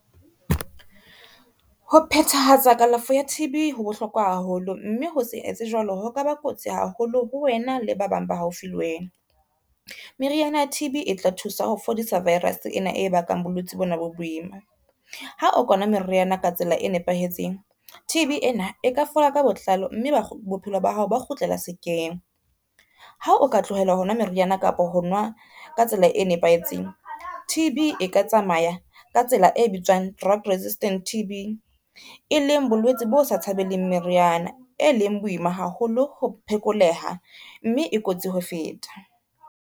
Ho phethahatsa kalafo ya T_B ho bohlokwa haholo, mme ho se etse jwalo ho kaba kotsi haholo ho wena le ba bang ba haufi le wena. Meriana ya T_B e tla thusa ho fodisa virus ena e bakang bolwetse bona bo boima. Ha o ka nwa meriana ka tsela e nepahetseng T_B ena e ka fola ka botlalo, mme bophelo ba hao ba kgutlela sekeng. Ha o ka tlohela ho nwa meriana kapa ho nwa ka tsela e nepahetseng, T_B e ka tsamaya ka tsela e bitswang drug resistance T_B, e leng bolwetse bo sa tshabeng le meriana e leng bo boima haholo ho phekoleha mme e kotsi ho feta.